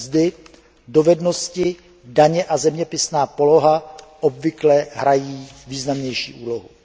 mzdy, dovednosti, daně a zeměpisná poloha obvykle hrají významnější úlohu.